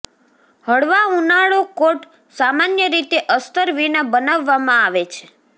હળવા ઉનાળો કોટ સામાન્ય રીતે અસ્તર વિના બનાવવામાં આવે છે